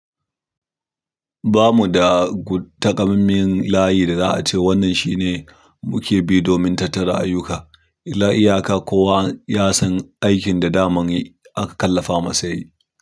Ba mu da, guu, taƙammamen layi da za a ce wannan shine muke bi domin tattara ayyuka. Ila'iyya ka ko wa ya san aikin da daman yi aka kallafa masa yayi.